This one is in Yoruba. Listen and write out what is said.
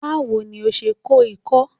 Báwo ni o se kó ikó?